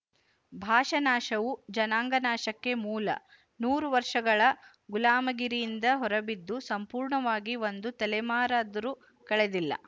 ಭಾಷಾನಾಶವು ಜನಾಂಗನಾಶಕ್ಕೆ ಮೂಲ ನೂರು ವರ್ಶಗಳ ಗುಲಾಮಗಿರಿಯಿಂದ ಹೊರಬಿದ್ದು ಸಂಪೂರ್ಣವಾಗಿ ಒಂದು ತಲೆಮಾರಾದರೂ ಕಳೆದಿಲ್ಲ